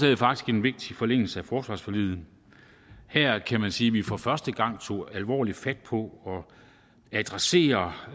er faktisk en vigtig forlængelse af forsvarsforliget her kan man sige at vi for første gang tog alvorligt fat på at adressere